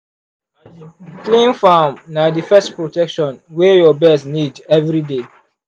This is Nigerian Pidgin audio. clean farm na the first protection wey your birds need every day.